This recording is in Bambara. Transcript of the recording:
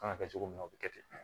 Kan ka kɛ cogo min na o bɛ kɛ ten